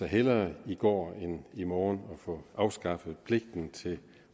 hellere i går end i morgen får afskaffet pligten til de